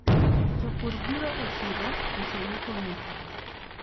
Jopur biro e chiro uso yuto mekgi.